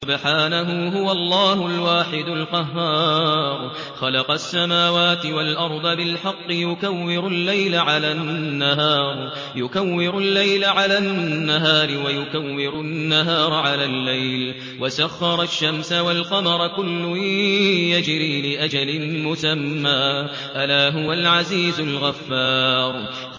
خَلَقَ السَّمَاوَاتِ وَالْأَرْضَ بِالْحَقِّ ۖ يُكَوِّرُ اللَّيْلَ عَلَى النَّهَارِ وَيُكَوِّرُ النَّهَارَ عَلَى اللَّيْلِ ۖ وَسَخَّرَ الشَّمْسَ وَالْقَمَرَ ۖ كُلٌّ يَجْرِي لِأَجَلٍ مُّسَمًّى ۗ أَلَا هُوَ الْعَزِيزُ الْغَفَّارُ